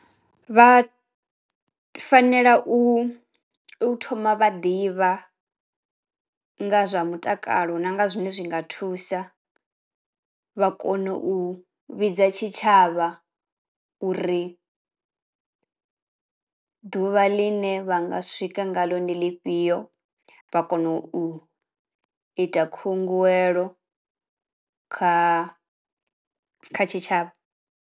Vha fanela u u thoma vha ḓivha nga zwa mutakalo na nga zwine zwi nga thusa, vha kono u vhidza tshitshavha uri ḓuvha ḽine vha nga swika nga ḽo ndi ḽifhio, vha kono u ita khunguwelo kha kha tshitshavha.